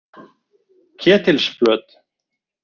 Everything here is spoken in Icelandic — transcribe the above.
Ketilsflöt